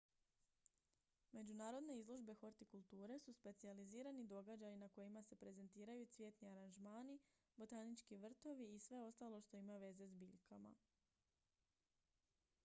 međunarodne izložbe hortikulture su specijalizirani događaji na kojima se prezentiraju cvjetni aranžmani botanički vrtovi i sve ostalo što ima veze s biljkama